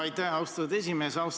Aitäh, austatud esimees!